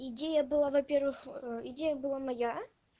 идея была во-первых идея была моя